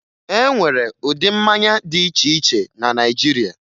E nwere ụdị mmanya dị iche iche na Naịjirịa